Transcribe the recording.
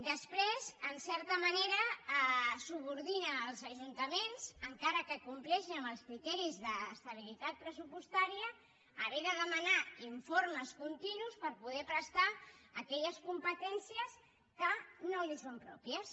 després en certa manera subordina els ajuntaments encara que compleixin amb els criteris d’estabilitat pressupostària a haver de demanar informes continus per poder prestar aquelles competències que no els són pròpies